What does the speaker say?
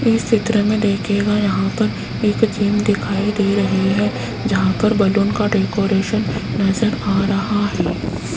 इस चित्र में देखियेगा यहां पर एक जिम दिखाई दे रही है जहां पर बैलून का डेकोरेशन नजर आ रहा है।